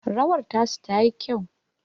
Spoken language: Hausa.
rawar tasu tayi kyau